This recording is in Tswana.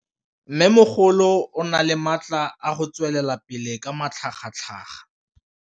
Mmêmogolo o na le matla a go tswelela pele ka matlhagatlhaga.